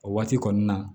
O waati kɔni na